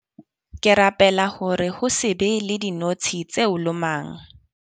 Ke rapela hore ho se be le dinotshi tse o lomang.